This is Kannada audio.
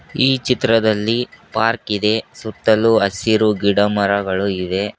ಈ ಚಿತ್ರದಲ್ಲಿ ಪಾರ್ಕ ಇದೆ ಸುತ್ತಲು ಹಸಿರು ಗಿಡ ಮರಗಳಿವೆ.